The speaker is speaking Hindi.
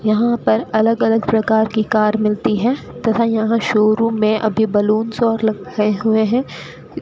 यहां पर अलग अलग प्रकार की कार मिलती है तथा यहां शोरूम में अभी बलूंस और लगे हुए हैं।